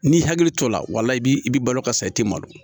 N'i hakili to la i b'i balo ka sa i tɛ malo